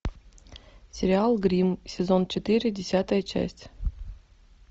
сериал гримм сезон четыре десятая часть